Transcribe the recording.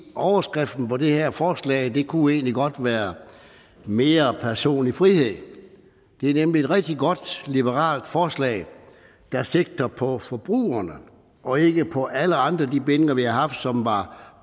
overskriften på det her forslag kunne egentlig godt være mere personlig frihed det er nemlig et rigtig godt liberalt forslag der sigter på forbrugerne og ikke på alle andre af de bindinger vi har haft som var